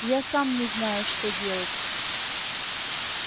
я сам не знаю что делать